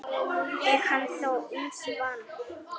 Er hann þó ýmsu vanur.